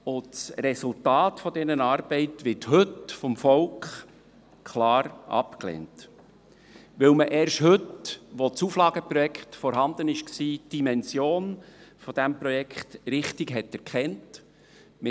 Das Resultat dieser Arbeit wird heute vom Volk klar abgelehnt, weil man erst heute, wo das Auflageprojekt vorliegt, die Dimension dieses Projekts richtig erkannt hat.